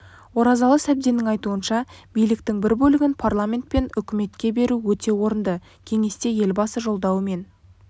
оразалы сәбденнің айтуынша биліктің бір бөлігін парламент пен үкіметке беру өте орынды кеңесте елбасы жолдауы мен